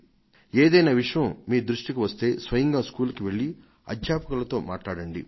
ఏదైనా విషయం మీ దృష్టికి వస్తే స్వయంగా బడికి వెళ్లి ఉపాధ్యాయులతో మాట్లాడండి